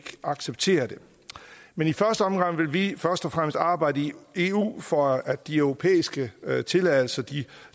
acceptere det men i første omgang vil vi først og fremmest arbejde i eu for at de europæiske tilladelser til